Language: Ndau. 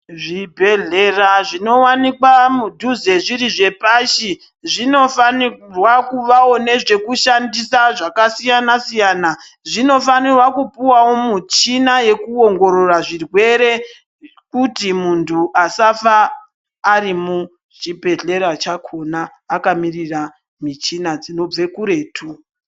Zvibhedhlera zvinowanikwa mudhuze zviri zvepashi, zvinofanirwa kuvawo nezvekushandisa zvakasiyana-siyana. Zvinofanirwa kupuwawo muchina yekuongorora zvirwere kuti muntu asafa ari muchibhedhlera chakona, akamirira michina dzinobve kuretu.